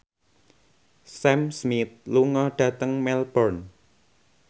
Sam Smith lunga dhateng Melbourne